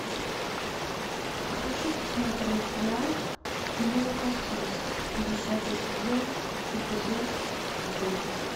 хочу посмотреть сериал молокососы десятый сезон эпизод девять